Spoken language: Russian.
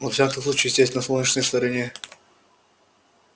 во всяком случае здесь на солнечной стороне